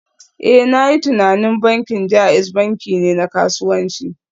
Eh, na yi tunanin bankin JAIZ banki ne na kasuwanci